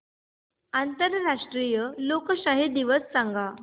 आंतरराष्ट्रीय लोकशाही दिवस सांगा